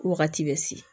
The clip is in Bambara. Wagati bɛ se